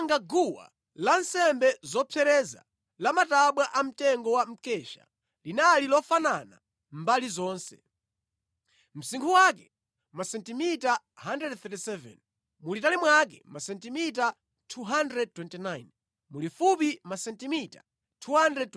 Anapanga guwa lansembe zopsereza lamatabwa amtengo wa mkesha. Linali lofanana mbali zonse. Msinkhu wake masentimita 137, mulitali mwake masentimita 229, mulifupi masentimita 229.